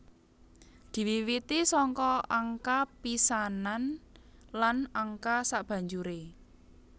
Diwiwiti saka angka pisanan lan angka sabanjuré